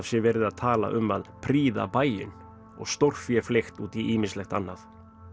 sé verið að tala um að prýða bæinn og stórfé fleygt út í ýmislegt annað